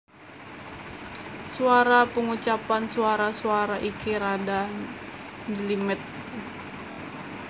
Swara Pangucapan swara swara iki rada njlimet